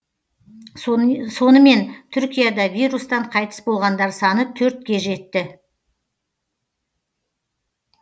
сонымен түркияда вирустан қайтыс болғандар саны төртке жетті